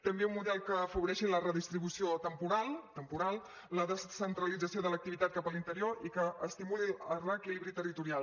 també un model que afavoreixi la redistribució temporal temporal la descentralització de l’activitat cap a l’interior i que estimuli el reequilibri territorial